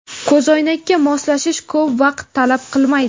Ko‘zoynakka moslashish ko‘p vaqt talab qilmaydi.